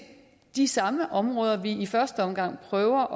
de samme områder vi i første omgang prøver